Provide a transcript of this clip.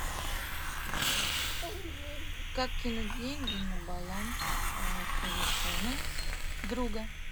как кинуть деньги на баланс телефона друга